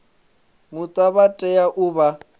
muta vha tea u vha